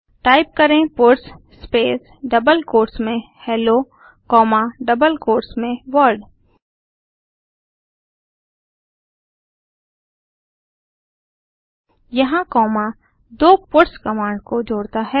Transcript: type करें puts space double quotes में hello comma double quotes में वर्ल्ड यहाँ कॉमा दो पट्स कमांड को जोड़ता है